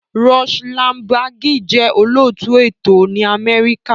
Rush Limbaugh jẹ́ olóòtú ètò ní Amẹ́ríkà.